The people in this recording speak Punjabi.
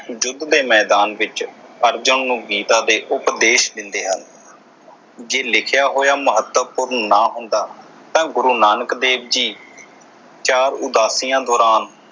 ਯੁੱਧ ਦੇ ਮੈਦਾਨ ਵਿਚ ਅਰਜਨ ਨੂੰ ਗੀਤਾ ਦੇ ਉਪਦੇਸ਼ ਦਿੰਦੇ ਹਨ ਜੇ ਲਿਖਿਆ ਹੋਇਆ ਮਹੱਤਵਪੂਰਨ ਨਾ ਹੁੰਦਾ ਤਾਂ ਗੁਰੂ ਨਾਨਕ ਦੇਵ ਜੀ ਚਾਰ ਉਦਾਸੀਆ ਦੌਰਾਨ